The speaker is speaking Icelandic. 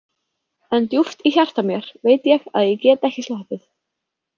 En djúpt í hjarta mér veit ég að ég get ekki sloppið.